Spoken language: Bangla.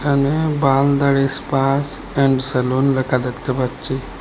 এখানে বাল দাড়ি স্পা অ্যান্ড সেলুন লেখা দেখতে পাচ্ছি।